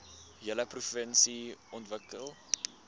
hele provinsie ontwikkel